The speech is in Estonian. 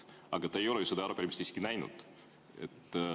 Aga te ei ole ju seda arupärimist näinud.